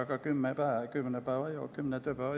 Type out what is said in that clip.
Aga see on kümme tööpäeva.